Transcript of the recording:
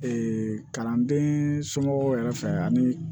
kalanden somɔgɔw yɛrɛ fɛ ani